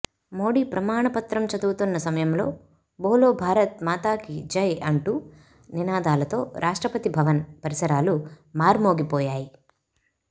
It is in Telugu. మోడీ ప్రమాణ పత్రం చదువుతున్న సమయంలో బోలో భారత్ మాతాకీ జై అంటూ నినాదాలతో రాష్ట్రపతి భవన్ పరిసరాలు మార్మోగిపోయాయి